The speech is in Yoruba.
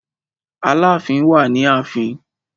Aláàfin wà ni ààfin.